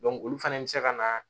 olu fana bɛ se ka na